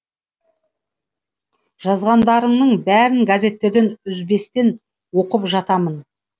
жазғандарыңның бәрін газеттерден үзбестен оқып жатамын